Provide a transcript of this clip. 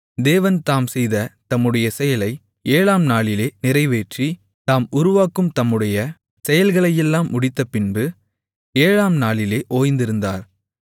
தேவன் தாம் செய்த தம்முடைய செயலை ஏழாம் நாளிலே நிறைவேற்றி தாம் உருவாக்கும் தம்முடைய செயல்களையெல்லாம் முடித்தபின்பு ஏழாம் நாளிலே ஓய்ந்திருந்தார்